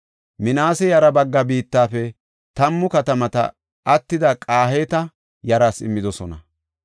Minaase yaraa baggaa biittafe tammu katamata attida Qahaata yaraas immidosona.